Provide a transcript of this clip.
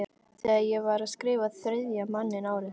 Þegar ég var að skrifa Þriðja manninn árið